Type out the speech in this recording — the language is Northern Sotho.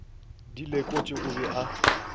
di lekotše o be a